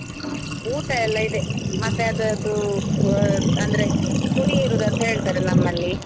ಹ್ಮ್ ಊಟ ಎಲ್ಲ ಇದೆ, ಮತ್ತೆ ಅದ್ರದ್ದು ಕೋ~ ಅಂದ್ರೆ ಕೊಡಿಯೇರುದು ಅಂತ ಹೇಳ್ತಾರೆ ನಮ್ಮಲ್ಲಿ.